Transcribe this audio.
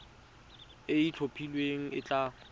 e e itlhophileng e tla